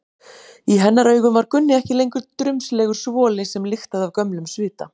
Í hennar augum var Gunni ekki lengur drumbslegur svoli sem lyktaði af gömlum svita.